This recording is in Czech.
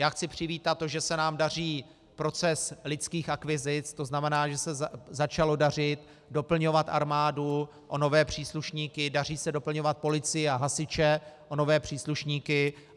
Já chci přivítat to, že se nám daří proces lidských akvizic, to znamená, že se začalo dařit doplňovat armádu o nové příslušníky, daří se doplňovat policii a hasiče o nové příslušníky.